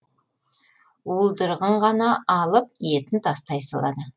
уылдырығын ғана алып етін тастай салады